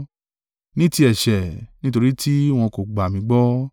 ní ti ẹ̀ṣẹ̀, nítorí tí wọn kò gbà mí gbọ́;